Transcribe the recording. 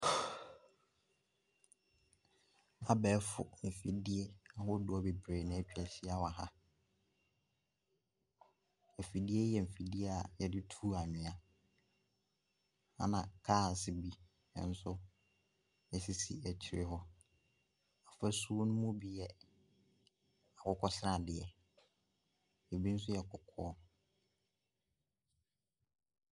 Abɛɛfo mfidie ahodoɔ bebree na atwa ahyia wɔ ha, afidie yi yɛ mfidie a yɛde tu anwea. Na cars bi nso sisi akyire hɔ, fasuo ne mu bi yɛ akokɔsradeɛ, bi nso yɛ kɔkɔɔ.